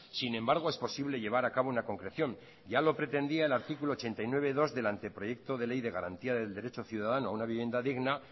sin embargo es posible llevar a cabo una concreción ya lo pretendía el artículo ochenta y nueve punto dos del anteproyecto de ley de garantía del derecho ciudadano a una vivienda digna